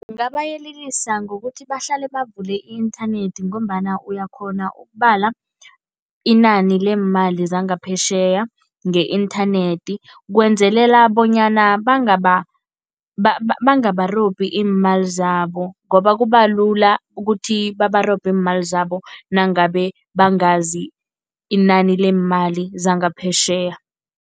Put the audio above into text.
Ngingabayelelisa ngokuthi bahlale bavule i-inthanethi ngombana uyakghona ukubala inani leemali zangaphetjheya nge-inthanethi. Kwenzelela bonyana bangarobhani iimali zabo ngoba kubalula ukuthi babarobhe iimali zabo nangabe bangazi inani leemali zangaphetjheya.